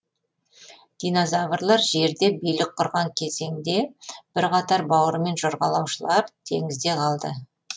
динозаврлар жерде билік құрған кезеңде бірқатар бауырымен жорғалаушылар теңізде қалды